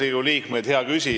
Riigikogu liikmed!